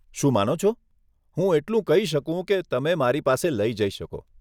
શું માનો છો? હું એટલું કહી શકું કે તમે મારી પાસે લઇ જઈ શકો.